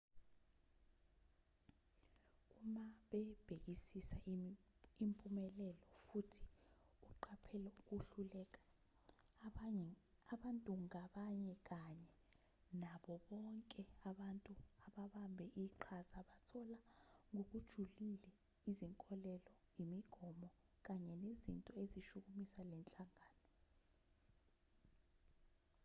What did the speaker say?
uma bebhekisisa impumelelo futhi uqaphela ukuhluleka abantu ngabanye kanye nabo bonke abantu ababambe iqhaza bathola ngokujulileizinkolelo imigomo kanye nezinto ezishukumisa le nhlangano